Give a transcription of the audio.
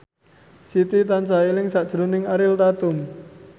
Siti tansah eling sakjroning Ariel Tatum